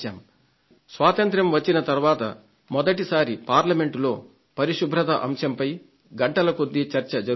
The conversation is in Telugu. స్వాతంత్య్రం వచ్చిన తర్వాత మొదటిసారి పార్లమెంట్లో పరిశుభ్రత అంశంపై గంటల కొద్దీ చర్చ జరుగుతోంది